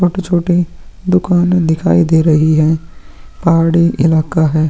भौत ही छोटे दुकान दिखाई दे रहे हैं पहाड़ी इलाका है।